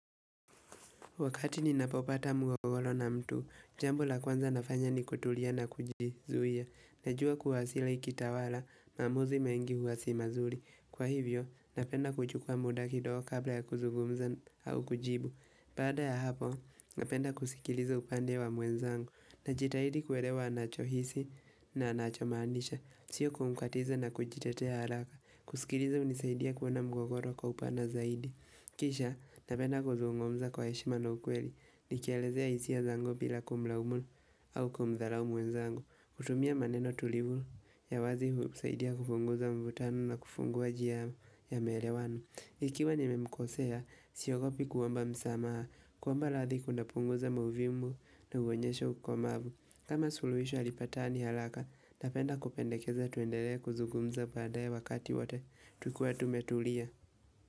Wakati ninapopata mwagolo na mtu, jambo la kwanza nafanya ni kutulia na kujizuia. Najua kuwasila kitawala, maamuzi mengi huwa si mazuri. Kwa hivyo, napenda kuchukua muda kidogo kabla ya kuzugumza au kujibu. Baada ya hapo, napenda kusikiliza upande wa mwenzangu. Najitahidi kuelewa anachohisi na anachomanisha. Sio kumkatiza na kujitetea haraka. Kusikiliza hunisaidia kuona mugogoro kwa upana zaidi. Kisha, napenda kuzungumza kwa heshima na ukweli, nikielezea hisia zangu bila kumlaumu au kumdharau mwenzangu. Kutumia maneno tulivu ya wazi husaidia kupunguza mvutano na kufunguwa njia ya maelewano. Ikiwa nimemkosea, siogopi kuomba msamaha, kuomba radhi kunapunguza mauvimu na uonyesha ukumavu. Kama suluhisho halipatani haraka, napenda kupendekeza tuendelee kuzugumza baadae wakati wote, tukiwa tumetulia.